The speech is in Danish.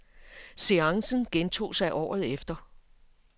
Seancen gentog sig året efter.